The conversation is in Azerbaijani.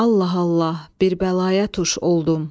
Allah, Allah, bir bəlaya tuş oldum.